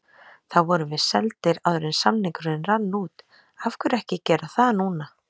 Þá vorum við seldir áður en samningurinn rann út, af hverju ekki gera það núna?